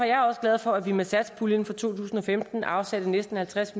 jeg også glad for at vi med satspuljen for to tusind og femten afsatte næsten halvtreds